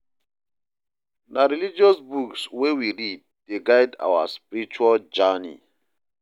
Na religious books wey we read dey guide our spiritual journey.